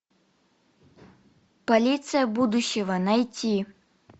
полиция будущего найти